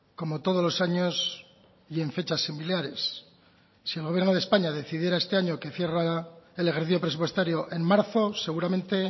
como todos los años y en fechas similares si el gobierno de españa decidiera este año que cierra el ejercicio presupuestario en marzo seguramente